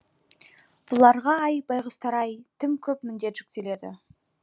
бұларға ай байғұстар ай тым көп міндет жүктеледі